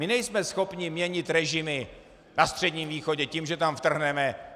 My nejsme schopni měnit režimy na Středním východě tím, že tam vtrhneme.